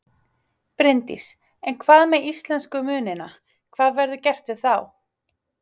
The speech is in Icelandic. Bryndís: En hvað með íslensku munina, hvað verður gert við þá?